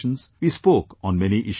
We spoke on many issues